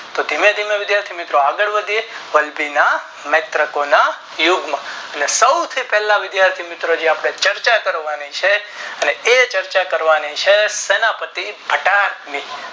તો ધીમે ધીમે વિધાર્થી મિત્રો આગળ વધીએ નેત્રોકોના યુદ્ધ માં નેસોથી પહેલા વિધાથી મિત્રો આપણે ચર્ચા કરવાની છે અને એ ચર્ચા કરવાની છે સેના પતિ ઘટાક ની